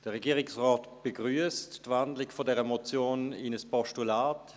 Der Regierungsrat begrüsst die Wandlung dieser Motion in ein Postulat.